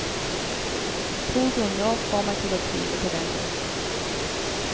To grunner får meg til å tvile på det.